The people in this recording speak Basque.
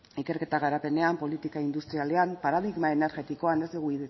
ikerketa garapenean politika industrialean paradigma energetikoan ez dugu